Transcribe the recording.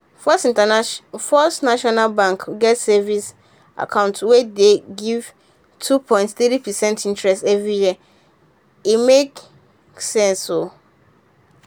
first internation first national bank get savings account wey dey give two point three percent interest every year — e make sense.o